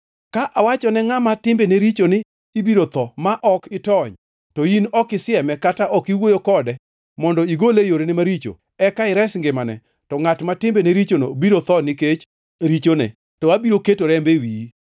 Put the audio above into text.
Ka awachone ngʼama timbene richo ni, ibiro tho ma ok itony, to in ok isieme kata ok iwuoyo kode mondo igole e yorene maricho, eka ires ngimane, to ngʼat ma timbene richono biro tho nikech richone, to abiro keto rembe e wiyi.